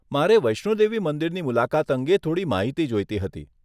મારે વૈષ્ણો દેવી મંદિરની મુલાકાત અંગે થોડી માહિતી જોઈતી હતી.